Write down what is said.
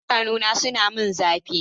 Idanuna suna min zafi.